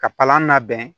Ka palan labɛn